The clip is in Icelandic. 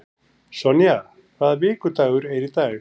Sonja, hvaða vikudagur er í dag?